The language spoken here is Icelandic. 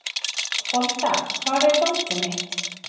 Folda, hvar er dótið mitt?